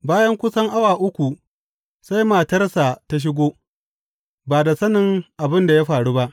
Bayan kusan awa uku, sai matarsa ta shigo, ba da sanin abin da ya faru ba.